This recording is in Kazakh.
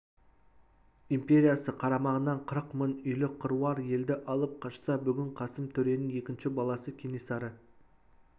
империясы қарамағынан қырық мың үйлік қыруар елді алып қашса бүгін қасым төренің екінші баласы кенесары